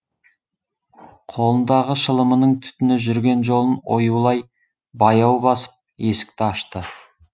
қолындағы шылымының түтіні жүрген жолын оюлай баяу басып есікті ашты